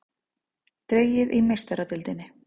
Dregið í Meistaradeildinni